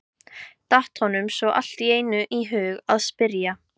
datt honum svo allt í einu í hug að spyrja.